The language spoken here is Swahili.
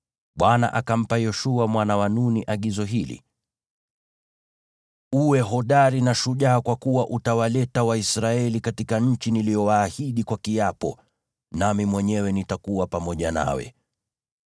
Bwana akampa Yoshua mwana wa Nuni agizo hili: “Uwe hodari na shujaa, kwa kuwa utawaleta Waisraeli katika nchi niliyowaahidi kwa kiapo, nami mwenyewe nitakuwa pamoja nawe.”